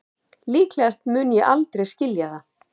Líklegast mun ég aldrei skilja það